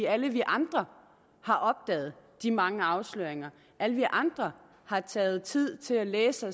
alle vi andre har opdaget de mange afsløringer alle vi andre har taget os tid til at læse